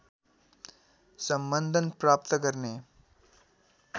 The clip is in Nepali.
सम्बन्धन प्राप्त गर्ने